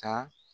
Ka